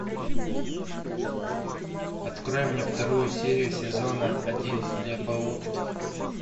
открой мне вторую серию сезона один хлебоутки